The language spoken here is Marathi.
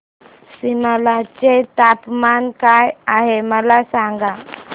सिमला चे तापमान काय आहे मला सांगा